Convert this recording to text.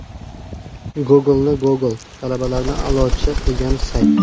Google’ni Google, talabalarni a’lochi qilgan sayt.